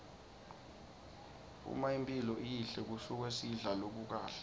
uma imphilo iyihle kusuke sidla lokukahle